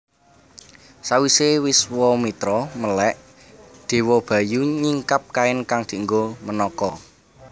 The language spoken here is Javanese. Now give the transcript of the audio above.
Sawise Wiswamitra melèk Dewa Bayu nyingkap kain kang dienggo Menaka